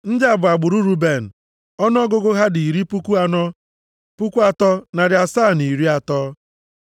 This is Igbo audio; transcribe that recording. Ndị a bụ agbụrụ Ruben. Ọnụọgụgụ ha dị iri puku anọ, puku atọ na narị asaa na iri atọ (43,730).